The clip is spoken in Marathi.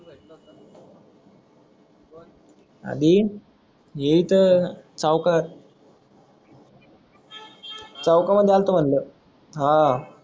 आदिन हे इथ चौकात चौक हा मध्ये आलतो म्हणल आह